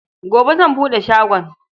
Gobe zan buɗe shagon.